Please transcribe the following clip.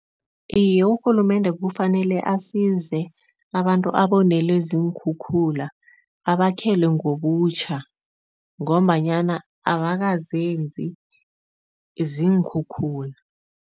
Iye, urhulumende kufanele asize abantu abonelwe ziinkhukhula, abakhele ngobutjha ngombanyana abakazenzi, ziinkhukhula.